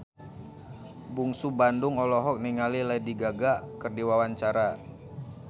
Bungsu Bandung olohok ningali Lady Gaga keur diwawancara